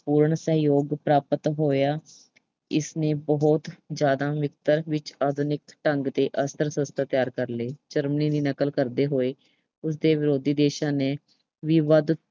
ਪੂਰਨ ਸਹਿਯੋਗ ਪ੍ਰਾਪਤ ਹੋਇਆ, ਇਸਨੇ ਬਹੁਤ ਜ਼ਿਆਦਾ ਮਿਕਦਾਰ ਵਿੱਚ ਆਧੁਨਿਕ ਢੰਗ ਦੇ ਅਸਤਰ ਸ਼ਸ਼ਤਰ ਤਿਆਰ ਕਰ ਲਏ। Germany ਦੀ ਨਕਲ ਕਰਦੇ ਹੋਏ, ਉਸਦੇ ਵਿਰੋਧੀ ਦੇਸ਼ਾਂ ਨੇ ਵੀ ਵੱਧ